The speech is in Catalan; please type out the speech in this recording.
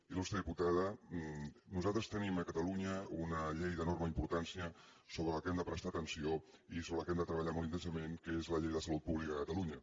il·lustre diputada nosaltres tenim a catalunya una llei d’enorme importància a la qual hem de prestar atenció i sobre la qual hem de treba·llar molt intensament que és la llei de salut pública de catalunya